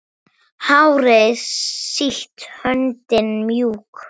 Hárið sítt, höndin mjúk.